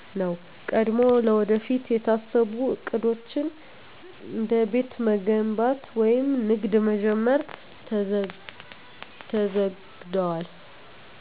ነው። ቀድሞ ለወደፊት የታሰቡ ዕቅዶች፣ እንደ ቤት መገንባት ወይም ንግድ መጀመር፣ ተዘግደዋል።